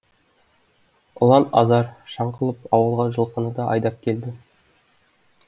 ұлан азар шаң қылып ауылға жылқыны да айдап келді